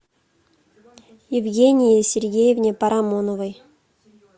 евгении сергеевне парамоновой